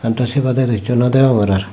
adoh sebaddeh do hicchu noh degongor ar.